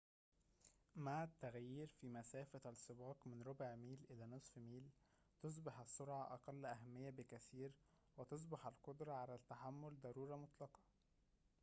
مع التغيير في مسافة السباق من ربع ميل إلى نصف ميل تُصبح السرعة أقل أهمية بكثير وتصبح القدرة على التحمل ضرورة مطلقة